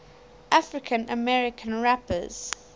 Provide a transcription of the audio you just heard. african american rappers